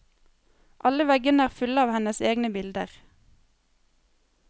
Alle veggene er fulle av hennes egne bilder.